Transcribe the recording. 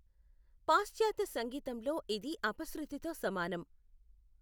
పాశ్చాత్య సంగీతంలో, ఇది అపశృతితో సమానం.